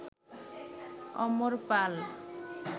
অমর পাল